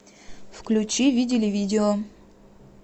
включи видели видео